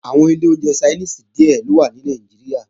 Àwọn ilé oúnjẹ Ṣainíìsì díè ló wà ní Nàìjíríà